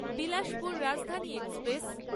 Bilaspur Rajdhani express